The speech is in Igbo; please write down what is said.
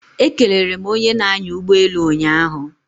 Ekelere m onye na-anya ụgbọelu ụnyaahụ